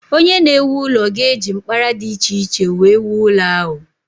Onye na-ewu ụlọ ga-eji mkpara dị iche iche wee wuo ụlọ ahụ.